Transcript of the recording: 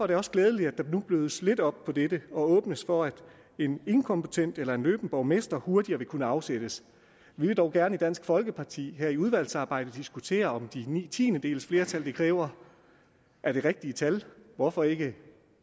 det også glædeligt at der nu blødes lidt op på dette og der åbnes for at en inkompetent eller anløben borgmester hurtigere vil kunne afsættes vi vil dog gerne i dansk folkeparti her i udvalgsarbejdet diskutere om de ni tiendedels flertal det kræver er det rigtige tal hvorfor ikke